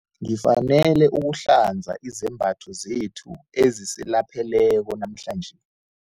Ngifanele ukuhlanza izembatho zethu ezisilapheleko namhlanje.